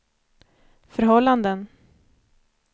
förhållanden